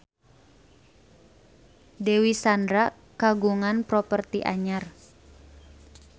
Dewi Sandra kagungan properti anyar